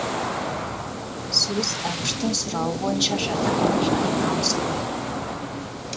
сөз әбіштің сұрауы бойынша жатақтың жайына ауысқан